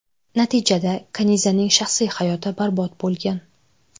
Natijada Kanizaning shaxsiy hayoti barbod bo‘lgan.